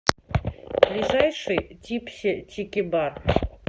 ближайший типси тики бар